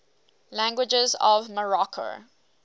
languages of morocco